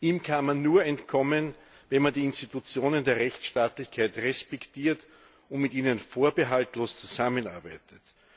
Ihm kann man nur entkommen, wenn man die Institutionen der Rechtsstaatlichkeit respektiert und mit ihnen vorbehaltlos zusammenarbeitet.